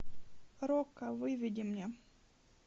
рокко выведи мне